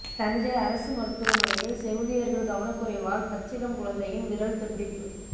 தஞ்சை அரசு மருத்துவமனையில் செவிலியர்கள் கவனக்குறைவால் பச்சிளம் குழந்தையின் விரல் துண்டிப்பு